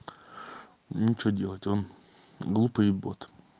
ну что делать он глупый бот